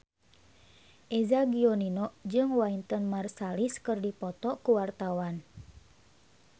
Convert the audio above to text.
Eza Gionino jeung Wynton Marsalis keur dipoto ku wartawan